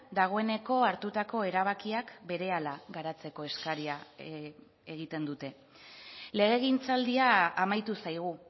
dagoeneko hartutako erabakiak berehala garatzeko eskaria egiten dute legegintzaldia amaitu zaigu